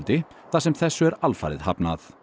þar sem þessu er alfarið hafnað